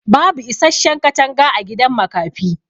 bubu isasshen katanga agidan makafi